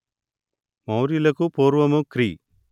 మౌర్యులకు పూర్వము క్రీ